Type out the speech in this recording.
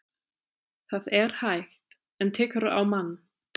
Það er hægt. en tekur á mann.